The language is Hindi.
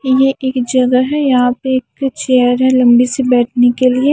यह एक जगह है यहाँ पे एक चेयर है लंबी सी बैठने के लिए--